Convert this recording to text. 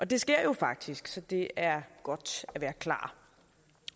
det sker jo faktisk så det er godt at være klar